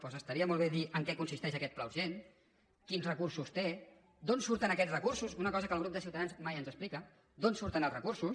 doncs estaria molt bé dir en què consisteix aquest pla urgent quins recursos té d’on surten aquests recursos una cosa que el grup de ciutadans mai ens explica d’on surten els recursos